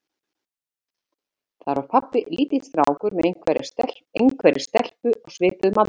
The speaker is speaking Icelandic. Þar var pabbi lítill strákur með einhverri stelpu á svipuðum aldri.